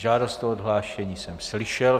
Žádost o odhlášení jsem slyšel.